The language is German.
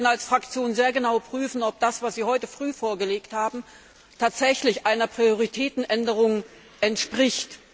Wir werden als Fraktion sehr genau prüfen, ob das, was Sie heute früh vorgelegt haben, tatsächlich einer Prioritätenänderung entspricht.